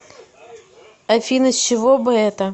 афина с чего бы это